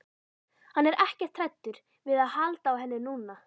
Hann er ekkert hræddur við að halda á henni núna.